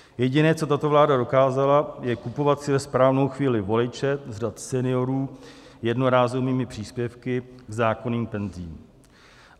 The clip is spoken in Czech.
Jediné, co tato vláda dokázala, je kupovat si ve správnou chvíli voliče z řad seniorů jednorázovými příspěvky k zákonným penzím.